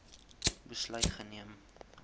besluit geneem